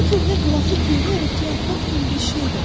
Bu köhnə qılafı köhnə örtüyə atmaq kimi bir şeydir.